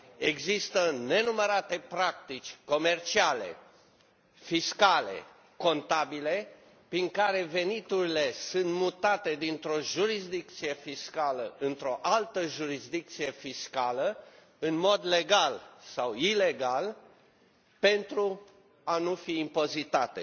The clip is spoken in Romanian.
Există nenumărate practici comerciale, fiscale, contabile, prin care veniturile sunt mutate dintr o jurisdicție fiscală într o altă jurisdicție fiscală, în mod legal sau ilegal, pentru a nu fi impozitate.